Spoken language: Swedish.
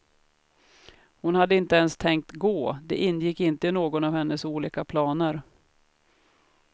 Hon hade inte ens tänkt gå, det ingick inte i någon av hennes olika planer.